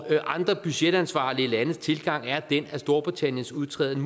andre budgetansvarlige landes tilgang er den at storbritanniens udtræden